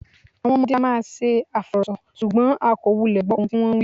Àwọn ọmọdé á máa ṣe àfọ̀rọ̀sọ, ṣùgbọ́n a kò wulẹ̀ gbọ́ ohun tí wón ń wí.